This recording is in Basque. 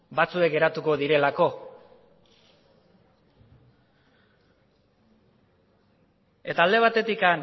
batzuk geratuko direlako eta alde batetik